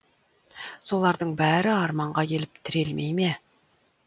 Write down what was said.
солардың бәрі арманға келіп тірелмей ме